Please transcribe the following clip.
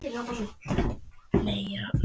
Sólbergur, spilaðu tónlist.